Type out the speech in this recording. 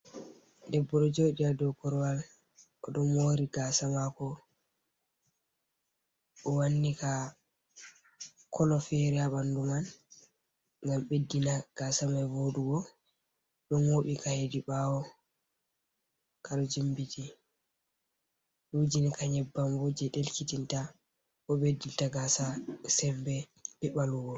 Debbo ɗo joɗi ha dou korwal, o ɗo mori gasa mako, o wanni ka kolo fere ha ɓandu man ngam ɓeddina gasa mai voɗugo. O ɗo moɓi ka hedi ɓaawo, ka ɗo jimbiti, o wujini ka nyeban bo jei ɗelkitinta bo ɓeddinta gasa sembe be ɓalwugo.